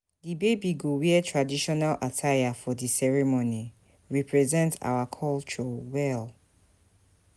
Di baby go wear traditional attire for di ceremony, represent our culture well.